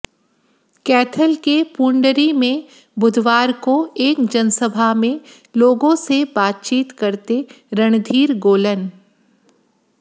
कैथल के पूंडरी में बुधवार को एक जनसभा में लोगों से बातचीत करते रणधीर गोलन